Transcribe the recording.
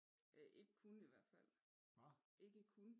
Øh ikke kun i hvert fald ikke kun